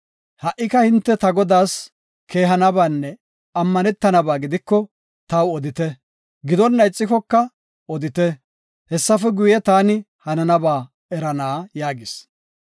Ha77ika hinte ta godaas keehanabanne ammanetanaba gidiko, taw odite; gidonna ixikoka odite; hessafe guye taani hananaba erana” yaagis.